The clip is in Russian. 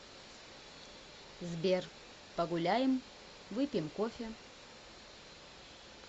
сбер погуляем выпьем кофе